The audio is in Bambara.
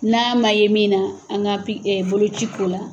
N'a ma ye min na an ka pi boloci k'o la